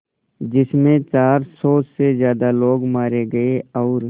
जिस में चार सौ से ज़्यादा लोग मारे गए और